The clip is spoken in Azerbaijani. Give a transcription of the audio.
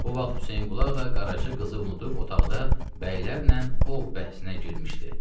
Bu vaxt Hüseynqulu ağa Qaraca qızı unudub otaqda bəylərlə ov bəhsinə girmişdi.